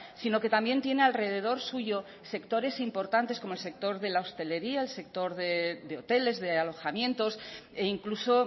sino que también tiene alrededor suyo sectores importantes como el sector de la hostelería el sector de hoteles de alojamientos e incluso